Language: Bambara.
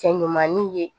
Cɛ ɲumaninw ye